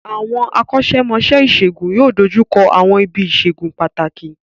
Àwọn akọ́ṣẹ́mọṣẹ́ ìṣègùn yóò dojú kọ àwọn ibi ìṣègùn pàtàkì